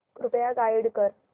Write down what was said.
कृपया गाईड कर